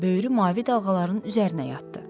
Böyrü mavi dalğaların üzərinə yatdı.